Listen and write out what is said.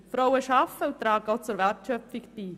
Die Frauen arbeiten und tragen auch zur Wertschöpfung bei.